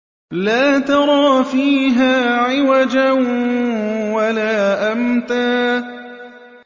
لَّا تَرَىٰ فِيهَا عِوَجًا وَلَا أَمْتًا